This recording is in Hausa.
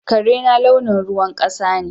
Karena launin ruwan kasa ne.